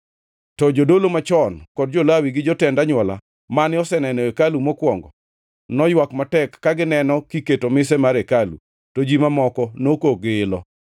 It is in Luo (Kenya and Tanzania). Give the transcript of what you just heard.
To jodolo machon kod jo-Lawi gi jotend anywola, mane oseneno hekalu mokwongo, noywak matek ka gineno kiketo mise mar hekalu, to ji mamoko nokok gi ilo.